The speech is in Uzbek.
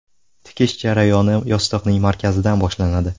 Tikish jarayoni yostiqning markazidan boshlanadi.